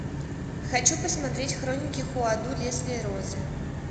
хочу посмотреть хроники хуаду лезвие розы